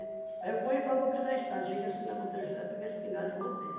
Aí eu corri para boca da estrada, cheguei assim na boca da estrada, peguei a espingarda e voltei.